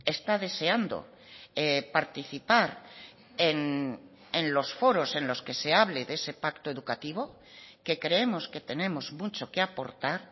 está deseando participar en los foros en los que se hable de ese pacto educativo que creemos que tenemos mucho que aportar